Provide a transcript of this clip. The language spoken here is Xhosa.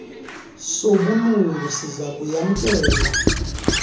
sobulungu siza kuyamkela